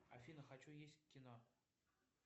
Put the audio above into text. афина хочу есть в кино